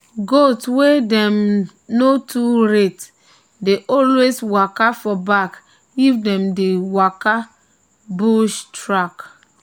goats wey dem no too rate dey always waka for back if them dey waka bush track.